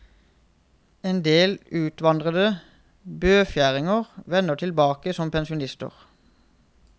En del utvandrede bøfjæringer vender tilbake som pensjonister.